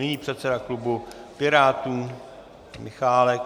Nyní předseda klubu Pirátů Michálek.